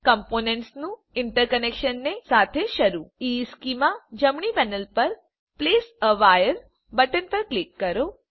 કમ્પોનંટ્સનું ઇન્ટરકનેક્શનને સાથે શરૂ ઇશ્ચેમાં જમણી પેનલ પર પ્લેસ એ વાયર બટન પર ક્લિક કરો